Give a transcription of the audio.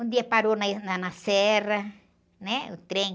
Um dia parou na, na, na serra, né? O trem,